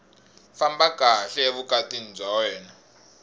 famba kahle evukatini bya wena